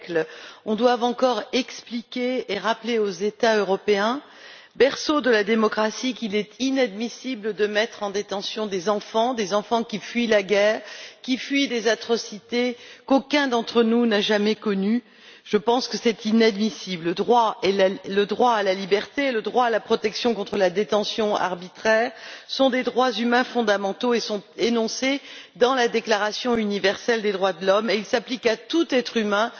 Monsieur le Président, comment est il possible qu'au XXIe siècle, on doive encore expliquer et rappeler aux États européens, berceaux de la démocratie, qu'il est inadmissible de mettre en détention des enfants des enfants qui fuient la guerre, qui fuient des atrocités qu'aucun d'entre nous n'a jamais connues? Je pense que c'est inadmissible. Le droit à la liberté, le droit à la protection contre la détention arbitraire sont des droits humains fondamentaux qui sont énoncés dans la déclaration universelle des droits de l'homme, et ils s'appliquent à tout être humain,